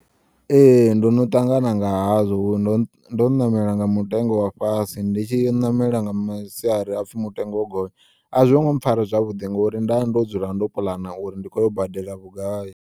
Ee, ndono ṱangana nga hazwo ndo ndo ṋamela nga mutengo wa fhasi nditshi ṋamela nga masiari hapfi mutengo wogonya, azwongo mpfara zwavhuḓi ngori nda ndo dzula ndo puḽana uri ndi khoyo badela vhugai.